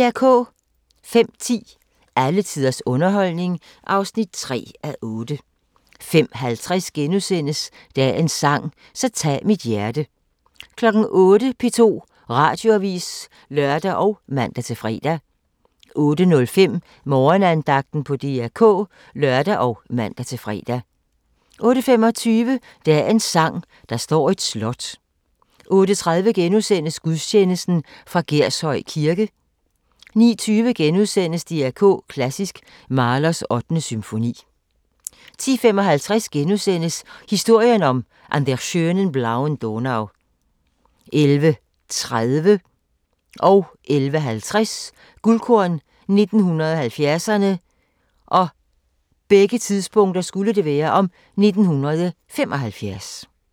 05:10: Alle tiders underholdning (3:8) 05:50: Dagens sang: Så tag mit hjerte * 08:00: P2 Radioavis (lør og man-fre) 08:05: Morgenandagten på DR K (lør og man-fre) 08:25: Dagens sang: Der står et slot 08:30: Gudstjeneste fra Gershøj Kirke * 09:20: DR K Klassisk: Mahlers 8. symfoni * 10:55: Historien om "An der schönen blauen Donau" 11:30: Guldkorn 1970'erne: 1975 11:50: Guldkorn 1970'erne: 1975